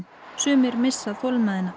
sumir missa þolinmæðina